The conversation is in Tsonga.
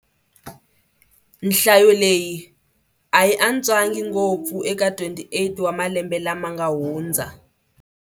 Nhlayo leyi a yi antswangi ngopfu eka 28 wa malembe lama nga hundza.